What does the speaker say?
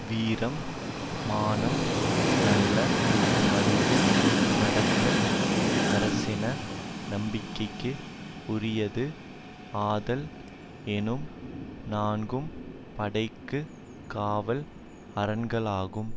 வீரம் மானம் நல்ல வழியில் நடத்தல் அரசின் நம்பிக்கைக்கு உரியது ஆதல் எனும் நான்கும் படைக்கு காவல் அரண்களாகும்